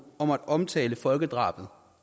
at omtale folkedrabet